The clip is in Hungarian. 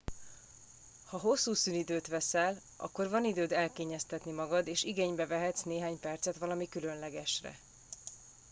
ha hosszú szünidőt veszel akkor van időd elkényeztetni magad és igénybe vehetsz néhány percet valami különlegesre